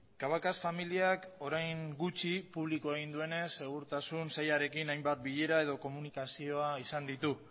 cabacas familiak orain gutxi publiko egin duenez segurtasun sailarekin hainbat bilera edo komunikazio izan ditu